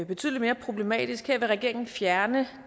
betydelig mere problematisk her vil regeringen fjerne